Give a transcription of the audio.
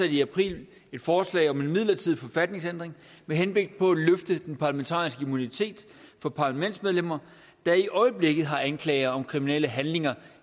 i april et forslag om en midlertidig forfatningsændring med henblik på at løfte den parlamentariske immunitet for parlamentsmedlemmer der i øjeblikket har anklager om kriminelle handlinger